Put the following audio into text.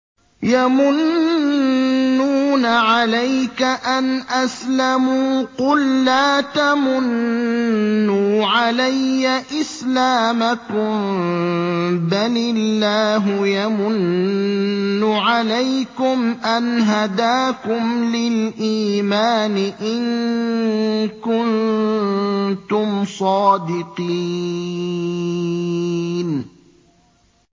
يَمُنُّونَ عَلَيْكَ أَنْ أَسْلَمُوا ۖ قُل لَّا تَمُنُّوا عَلَيَّ إِسْلَامَكُم ۖ بَلِ اللَّهُ يَمُنُّ عَلَيْكُمْ أَنْ هَدَاكُمْ لِلْإِيمَانِ إِن كُنتُمْ صَادِقِينَ